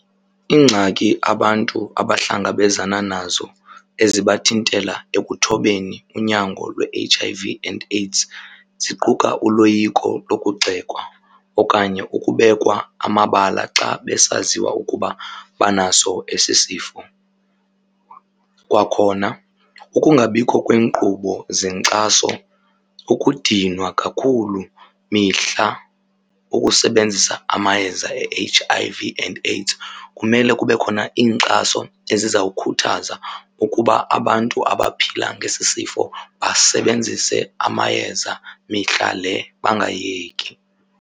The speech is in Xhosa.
Iingxaki abantu abahlangabezana nazo ezibathintela ekuthobeni unyango lwe-H_I_V and AIDS ziquka uloyiko lokugxekwa okanye ukubekwa amabala xa besaziwa ukuba banaso esi sifo. Kwakhona ukungabikho kweenkqubo zenkxaso, ukudinwa kakhulu mihla, ukusebenzisa amayeza e-H_I_V and AIDS. Kumele kube khona iinkxaso eziza kukhuthaza ukuba abantu abaphila ngesi sifo basebenzise amayeza mihla le bangayeki.